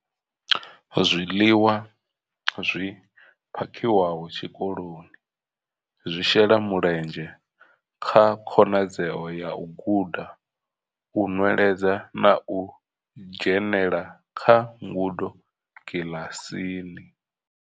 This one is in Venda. Zwiḽiwa zwi phakhiwaho tshikoloni zwi shela mulenzhe kha khonadzeo ya u guda, u nweledza na u dzhenela kha ngudo kiḽasini.